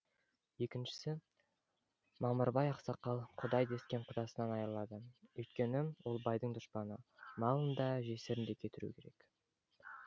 екіншісі мамырбай ақсақал құдай дескен құдасынан айырылады үйткені ол байдың дұшпаны малын да жесірін де кетіру керек